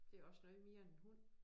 Det også noget mere end en hund